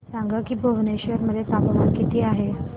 सांगा की भुवनेश्वर मध्ये तापमान किती आहे